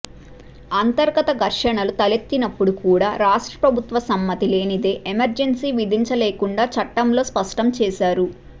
అంతర్గత ఘర్షణలు తలెత్తినప్పుడు కూడా రాష్ట్ర ప్రభుత్వ సమ్మతి లేనిదే ఎమర్జెన్సీ విధించలేకుండా చట్టంలో స్పష్టం చేసారు